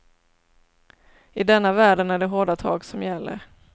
I denna världen är det hårda tag som gäller.